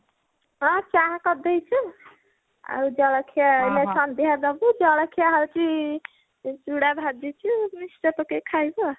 ହଁ ଚାହା କରି ଦେଇଛୁ ଆଉ ଜଳଖିଆ ଏଇନା ସଂନ୍ଧ୍ୟା ଦବୁ ଜଳଖିଆ ହଉଛି ଆଁ ଚୁଡା ଭାଜିଛୁ mixture ପକେଇକି ଖାଇବୁ ଆଉ